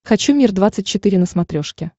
хочу мир двадцать четыре на смотрешке